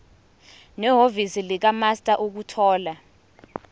nehhovisi likamaster ukuthola